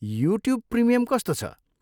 YouTube premium कस्तो छ?